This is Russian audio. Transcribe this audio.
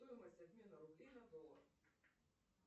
стоимость обмена рублей на доллары